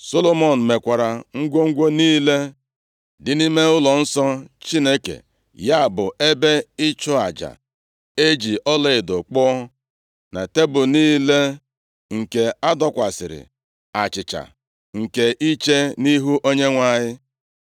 Solomọn mekwara ngwongwo niile dị nʼime ụlọnsọ Chineke, ya bụ, ebe ịchụ aja e ji ọlaedo kpụọ, na tebul niile nke a dọkwasịrị achịcha nke iche nʼIhu Onyenwe anyị,